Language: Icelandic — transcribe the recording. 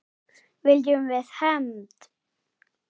Viljum við hefnd?